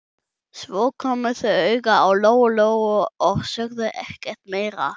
Svo komu þau auga á Lóu-Lóu og sögðu ekkert meira.